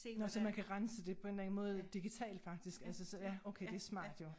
Nåh så man kan rense det på en eller anden måde digitalt faktisk altså så ja okay det smart jo